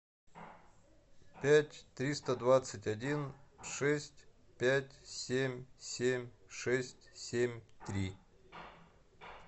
пять триста двадцать один шесть пять семь семь шесть семь три